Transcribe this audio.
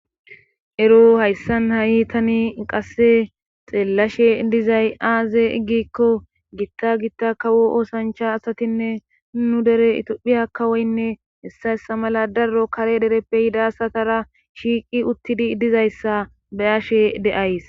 ero hayssan ha7itani qasse xeellashe dizay aaze iggikko gitta gitta kawo oosancha asatinne nu dere itophiya kawoynne hessayssa mala daro kare dereppe hidasatara shiiqi uttidi dizayssa beyashe de7ays